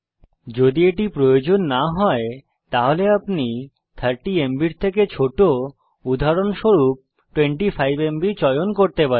যদি এটি প্রয়োজন না হয় তাহলে আপনি 30এমবি থেকে ছোট উদাহরণস্বরূপ 25এমবি চয়ন করতে পারেন